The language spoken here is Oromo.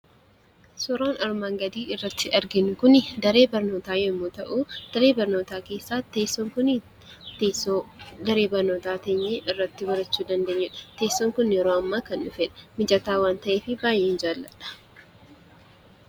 Suuraan armaan gaditti argamu kun daree barnootaa yammuu ta'uu; daree barmootaa keessattis kan irra taa'uun baratanii dha. Teessoon kun yeroo dhiyoo kan dhufee fi mijataa waan ta'eef baayyeen jaalladha.